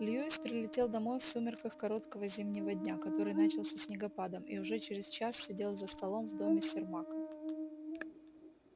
льюис прилетел домой в сумерках короткого зимнего дня который начался снегопадом и уже через час сидел за столом в доме сермака